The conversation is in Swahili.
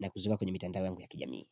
na kuziweka kwenye mitandao yangu ya kijamii.